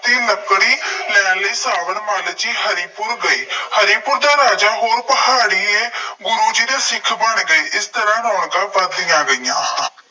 ਦੀ ਲੱਕੜੀ ਲੈਣ ਲਈ ਸਾਬਰ ਮੱਲ ਜੀ ਹਰੀਪੁਰ ਗਏ। ਹਰੀਪੁਰ ਦਾ ਰਾਜਾ ਕੋਲ ਪਹਾੜੀਏ ਗੁਰੂ ਜੀ ਦੇ ਸਿੱਖ ਬਣ ਗਏ। ਇਸ ਤਰ੍ਹਾਂ ਰੌਣਕਾਂ ਵੱਧਦੀਆਂ ਗਈਆਂ।